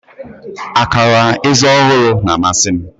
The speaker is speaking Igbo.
Akara eze ọhụrụ na-amasị m